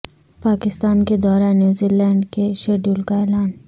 پاکستان کے دورہ New Zealand کے شیڈول کا اعلان